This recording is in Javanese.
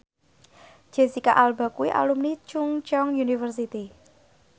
Jesicca Alba kuwi alumni Chungceong University